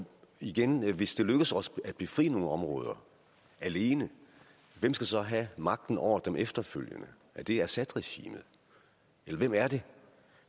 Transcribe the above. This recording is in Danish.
igen hvis det lykkes os at befri nogle områder alene hvem skal så have magten over dem efterfølgende er det assadregimet eller hvem er det